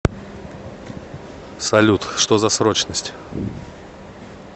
салют что за срочность